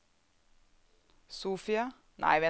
Sofia